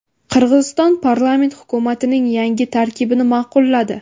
Qirg‘iziston parlamenti hukumatning yangi tarkibini ma’qulladi.